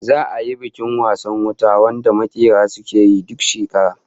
Za'a yi bikin wasan wuta wanda makera suke yi duk shekara